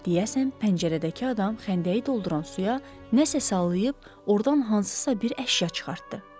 Deyəsən pəncərədəki adam xəndəyi dolduran suya nəsə salıb ordan hansısa bir əşya çıxartdı.